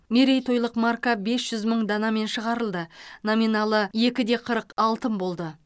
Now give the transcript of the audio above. мерейтойлық марка бес жүз мың данамен шығарылды номиналы екі де қырық алтын болды